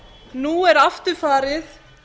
nú er aftur farið